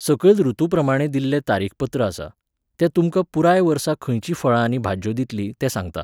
सकयल ऋतूप्रमाणें दिल्लें तारीखपत्र आसा. तें तुमकां पुराय वर्सा खंयचीं फळां आनी भाज्यो दितलीं तें सांगता.